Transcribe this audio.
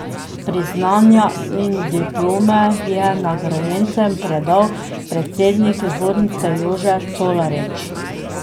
Priznanja in diplome je nagrajencem predal predsednik zbornice Jože Colarič.